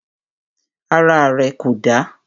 Ara rẹ̀ kò dà.